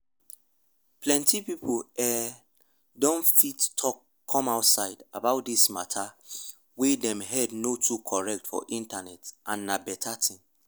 plenty people ehh don dey fit talk come outside about this mata wey dem head no too correct for internet and na better thing